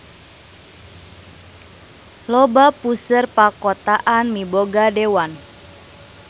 Loba puseur pakotaan miboga dewan.